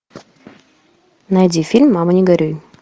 найди фильм мама не горюй